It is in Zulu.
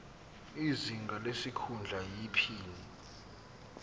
izinga lesikhundla iphini